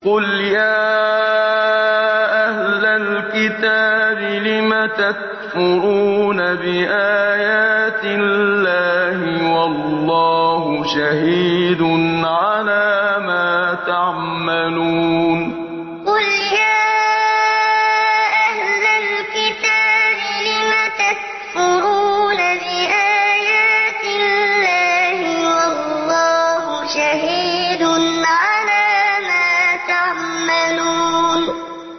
قُلْ يَا أَهْلَ الْكِتَابِ لِمَ تَكْفُرُونَ بِآيَاتِ اللَّهِ وَاللَّهُ شَهِيدٌ عَلَىٰ مَا تَعْمَلُونَ قُلْ يَا أَهْلَ الْكِتَابِ لِمَ تَكْفُرُونَ بِآيَاتِ اللَّهِ وَاللَّهُ شَهِيدٌ عَلَىٰ مَا تَعْمَلُونَ